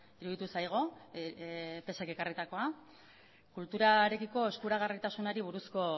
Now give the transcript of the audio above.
iruditu zaigu pse k ekarritakoa kulturarekiko eskuragarritasunari buruzko